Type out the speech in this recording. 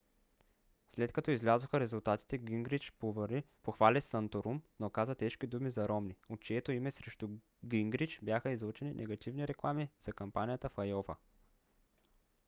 след като излязоха резултатите гингрич похвали санторум но каза тежки думи за ромни от чието име срещу гингрич бяха излъчени негативни реклами за кампанията в айова